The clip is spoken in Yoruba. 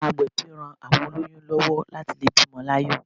Àwọn agbẹ̀bí ran àwọn olóyún lówó láti lè bímo láyò